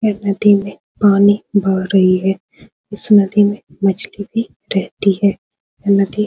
यह नदी में पानी बह रही है | इस नदी में मछली भी रहती है | यह नदी--